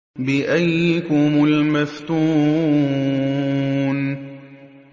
بِأَييِّكُمُ الْمَفْتُونُ